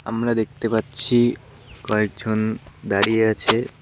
আমরা দেখতে পাচ্ছি কয়েকজন দাঁড়িয়ে আছে।